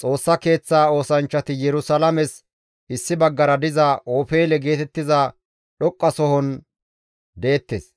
Xoossa Keeththa oosanchchati Yerusalaames issi baggara diza Ofeele geetettiza dhoqqasohon deettes;